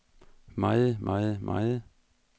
meget meget meget